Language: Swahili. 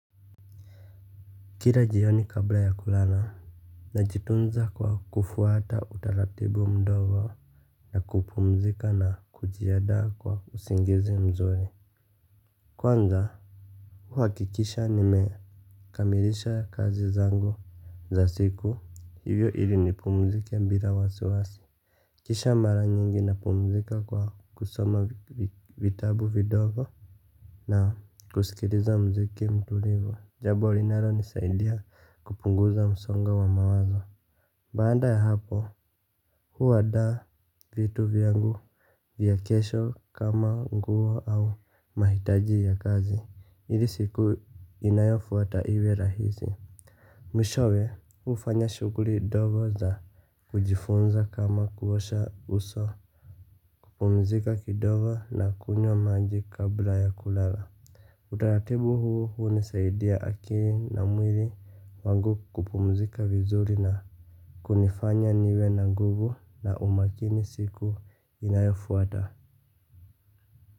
Kila jioni kabla ya kulala najitunza kwa kufuata utaratibu mdogo na kupumzika na kujiandaa kwa usingizi mzuri. Kwanza huhakikisha nimekamilisha kazi zangu za siku hivyo ili nipumzika bila wasiwasi. Kisha mara nyingi napumzika kwa kusoma vitabu vidogo na kusikiliza muziki mtulivu jambo linalonisaidia kupunguza msongo wa mawazo. Baada ya hapo, huandaa vitu vyangu vya kesho kama nguo au mahitaji ya kazi ili siku inayofuata iwe rahisi. Mwishowe, hufanya shughuli ndogo za kujifunza kama kuosha uso. Kupumzika kidogo na kunywa maji kabla ya kulala. Utaratibu huu hunisaidia akili na mwili wangu kupumzika vizuri na kunifanya niwe na nguvu na umakini siku inayofuata.